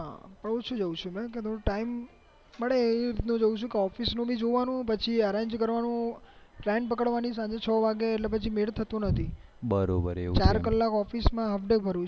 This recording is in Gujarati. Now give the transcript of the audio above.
પણ ઓછુ જવું છું એમ time મળે એમ જવું છું office નું પણ જોવાનું પછી arrange કરવાનું train પકડવાની સાંજે છ વાગે એટલે મેલ થતો નથી ચાર કલાક office માં હાલ્ફ day કરું